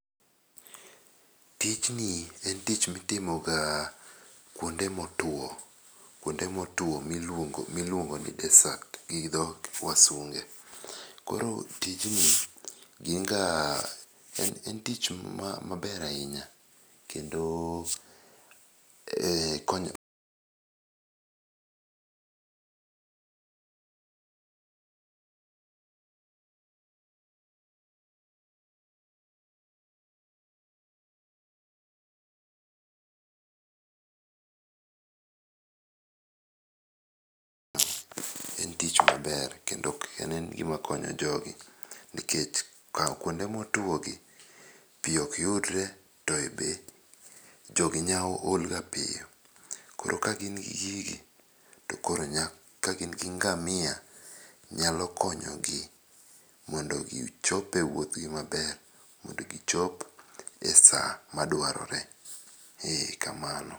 Tijni en tich mitimoga kuonde motuo, kuonde motuo miluongo ni dessert gidho wasunge. Koro tijni, en tich maber ahinya kendo. En tich maber kendo en gima konyo jogi nikech kawo kuonde motwogi pi ok yudre to be jogi olga piyo. Koro ka gin gi gigi, kagin gi ngamia, nyalo konyogi mondo gichope wuodhgi maber, mondo gichop e sa madwarore. Eeh, kamano.